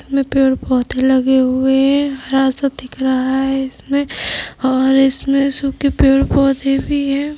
इसमें पेड़ पौधे लगे हुए हैं और हरा सा दिख रहा है इसमें और इसमें सूखे पेड़ पौधे भी है।